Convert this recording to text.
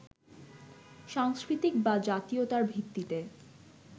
সাংস্কৃতিক বা জাতীয়তার ভিত্তিতে